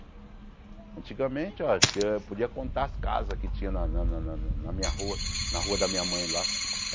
Antigamente, ó, eu podia contar as casas que tinha na na na na na minha rua, na rua da minha mãe lá.